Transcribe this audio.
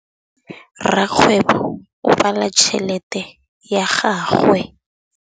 Rakgwêbô o bala tšheletê ya gagwe.